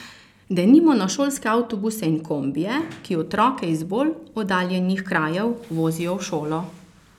Denimo na šolske avtobuse in kombije, ki otroke iz bolj oddaljenih krajev vozijo v šolo.